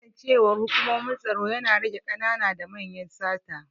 Kasancewar hukumomin tsaro ya rage ƙanana da manyan sata